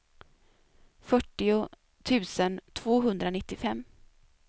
fyrtio tusen tvåhundranittiofem